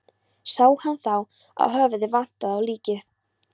Sá hann þá að höfuðið vantaði á líkið.